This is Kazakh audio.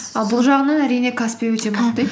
ал бұл жағынан әрине каспи өте мықты